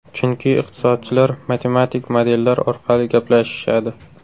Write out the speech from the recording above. Chunki iqtisodchilar matematik modellar orqali gaplashishadi.